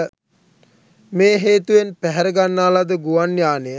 මේ හේතුවෙන් පැහැරගන්නා ලද ගුවන් යානය